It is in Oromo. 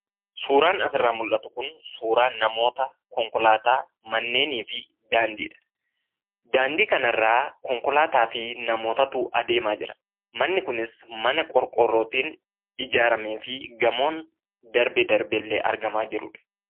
Suuraan asirraa mul'atu kun suuraa namootaa, konkolaataa, manneenii fi daandiidha. Daandii kanarra namootaa fi konkolaataatu adeemaa jira. Manni kunis mana qorqoorrootiin ijaaramee fi gamoon darbee darbeellee argamaa jirudha.